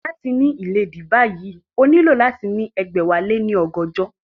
Láti ní ìléèdí báyìí, o nílò láti ní ẹgbẹ̀wáléní ọgọ́jọ